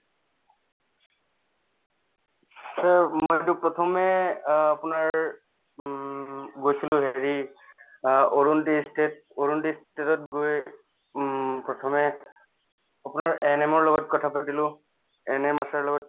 মইতো প্ৰথমে অ আপোনাৰ উম গৈছিলো হেৰি অ গৈয়ে উম প্ৰথমে আপোনাৰ ANM ৰ লগত কথা পাতিলো ANM আশাৰ লগত